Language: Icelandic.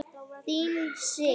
Þín Sif.